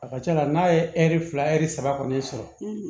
A ka ca la n'a ye ɛri fila ɛri saba kɔni sɔrɔ